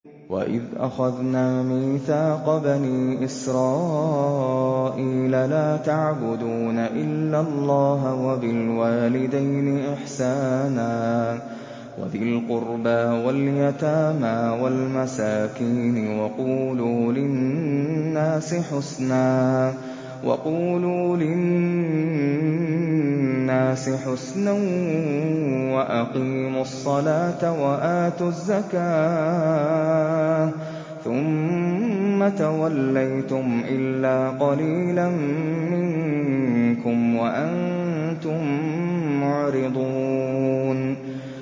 وَإِذْ أَخَذْنَا مِيثَاقَ بَنِي إِسْرَائِيلَ لَا تَعْبُدُونَ إِلَّا اللَّهَ وَبِالْوَالِدَيْنِ إِحْسَانًا وَذِي الْقُرْبَىٰ وَالْيَتَامَىٰ وَالْمَسَاكِينِ وَقُولُوا لِلنَّاسِ حُسْنًا وَأَقِيمُوا الصَّلَاةَ وَآتُوا الزَّكَاةَ ثُمَّ تَوَلَّيْتُمْ إِلَّا قَلِيلًا مِّنكُمْ وَأَنتُم مُّعْرِضُونَ